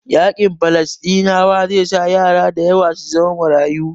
Yaƙin Falasɗinawa zai sa yara dayawa su zamo marayu